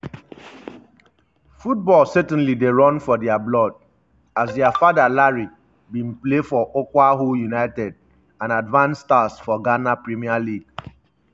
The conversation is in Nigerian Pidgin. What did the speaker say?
football certainly dey run for dia blood as dia father larry bin play for okwahu united and advance stars for ghana premier league.